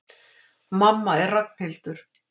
Mamma er Ragnhildur.